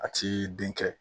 A ti den kɛ